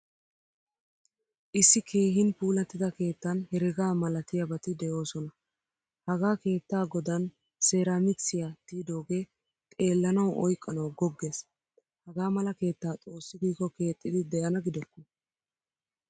Issi keehin puulattida keettan herega malatiyabati deosona. Hagaa keettaa godaan seramikisiyaa tiydoge xeelanawu oyqqanawu goggees. Hagaamala keettaa xoossi giko keexidi deana gidokko.